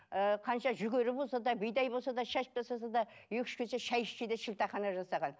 ы қанша жүгері болса да бидай болса да шашып тастаса да екі үш кесе шай ішсе де шілдехана жасаған